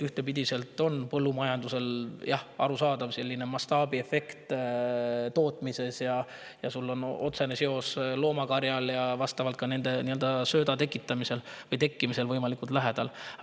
Ühtpidi on põllumajandustootmises – jah, arusaadav – mastaabiefekt ja loomakarja on otsene seos sellega, et võimalikult lähedal.